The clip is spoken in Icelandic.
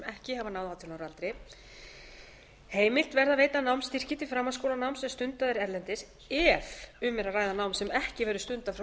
ekki hafa náð átján ára aldri heimilt verði að veita námsstyrki til framhaldsskólanáms sem stundað er erlendis ef um er að ræða nám sem ekki verður stundað frá